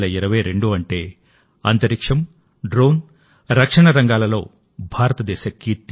2022 అంటే అంతరిక్షం డ్రోన్ రక్షణ రంగాలలో భారతదేశ కీర్తి